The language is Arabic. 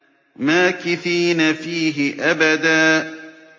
مَّاكِثِينَ فِيهِ أَبَدًا